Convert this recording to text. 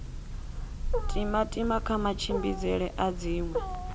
timatima kha matshimbidzele a dziṅwe